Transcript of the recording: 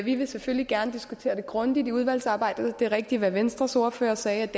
vi vil selvfølgelig gerne diskutere det grundigt under udvalgsarbejdet det er rigtigt hvad venstres ordfører sagde